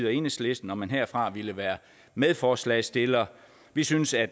og enhedslisten om man herfra ville være medforslagsstillere vi synes at